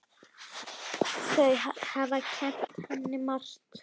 Þau hafi kennt henni margt.